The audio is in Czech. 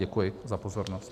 Děkuji za pozornost.